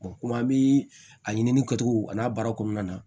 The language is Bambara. komi an bi a ɲini kɛcogo a n'a baara kɔnɔna na